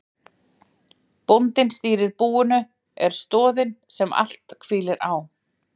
Bóndinn stýrir búinu, er stoðin sem allt hvílir á.